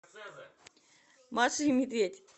маша и медведь